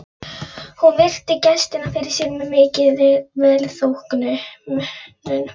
Hún virti gestinn fyrir sér með mikilli velþóknun.